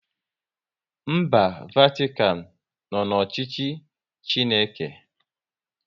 Mba Vatikan nọ n'ọchịchị Chineke